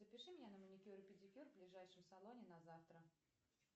запиши меня на маникюр и педикюр в ближайшем салоне на завтра